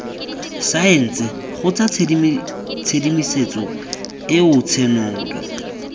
saense kgotsa tshedimosetso eo tshenolo